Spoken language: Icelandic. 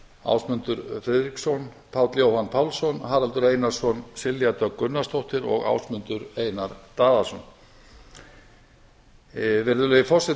ásmundur friðriksson páll jóhann pálsson haraldur einarsson silja dögg gunnarsdóttir og ásmundur einar daðason